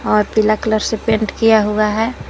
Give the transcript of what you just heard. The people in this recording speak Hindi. और पीला कलर से पेंट किया हुआ है।